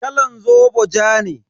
Kalan zobo ja ne.